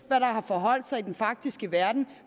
har forholdt sig i den faktiske verden